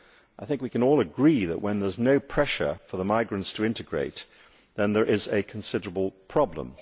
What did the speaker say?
I think we can all agree that, when there is no pressure for the migrants to integrate, there is a considerable problem.